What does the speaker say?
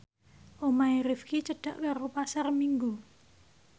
omahe Rifqi cedhak karo Pasar Minggu